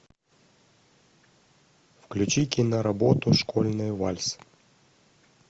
включи киноработу школьный вальс